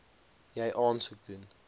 jy aansoek doen